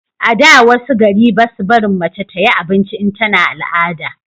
a da wasu gari basu barin mace ta yi abinci in tana al'ada